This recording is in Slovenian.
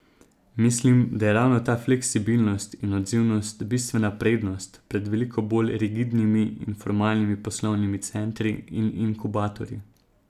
Mislim, da je ravno ta fleksibilnost in odzivnost bistvena prednost pred veliko bolj rigidnimi in formalnimi poslovnimi centri in inkubatorji.